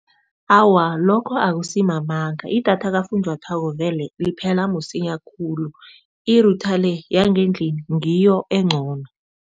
Awa, lokho akusi mamanga idatha kafunjathwako vele liphela msinya khulu i-router le yangendlini ngiyo encono.